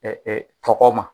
tɔgɔ ma.